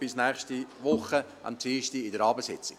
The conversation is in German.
Bis nächste Woche Dienstag an der Abendsitzung.